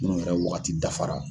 N'o yɛrɛ waagati dafara.